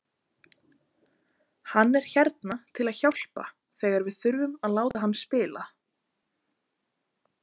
Hann er hérna til að hjálpa þegar við þurfum að láta hann spila.